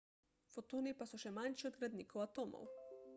fotoni pa so še manjši od gradnikov atomov